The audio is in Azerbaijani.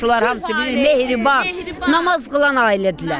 Qonşular hamısı deyir mehriban, namaz qılan ailədirlər.